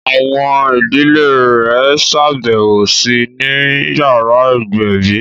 Àwọn ìdílé rẹ̀ ṣàbẹ̀wò sí I ni yàrá ìgbẹ̀bí